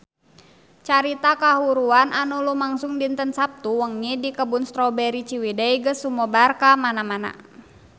Carita kahuruan anu lumangsung dinten Saptu wengi di Kebun Strawberry Ciwidey geus sumebar kamana-mana